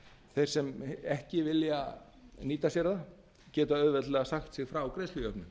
þeir sem ekki vilja nýta sér það geta auðveldlega sagt sig frá greiðslujöfnun